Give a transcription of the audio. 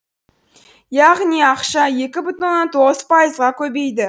яғни ақша екі бүтін оннан тоғыз пайызға көбейді